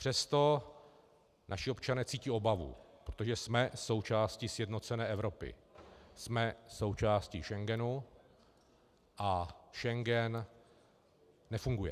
Přesto naši občané cítí obavu, protože jsme součástí sjednocené Evropy, jsme součástí Schengenu, a Schengen nefunguje.